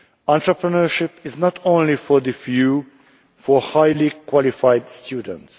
Entrepreneurship is not only for the few highly qualified students.